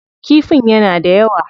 Kifin yana da yawa.